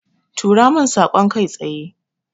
Tura min saƙon kai tsaye.